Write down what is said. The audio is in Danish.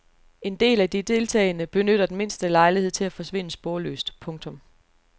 En del af de deltagende benytter den mindste lejlighed til at forsvinde sporløst. punktum